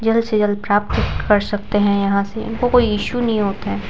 जल्द से जल्द प्राप्त कर सकते हैं यहाँ से इनको कोई इशू नहीं होता है।